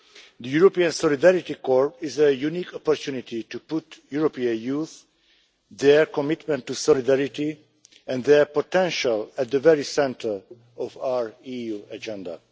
The European Solidarity Corps is a unique opportunity to put European youth, their commitment to solidarity, and their potential at the very centre of our EU agenda.